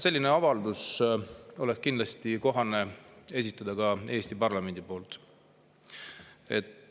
Minu arust oleks kohane esitada selline avaldus ka Eesti parlamendi poolt.